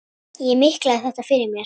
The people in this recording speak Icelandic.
Ég miklaði þetta fyrir mér.